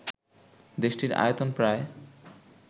দেশটির আয়তন প্রায়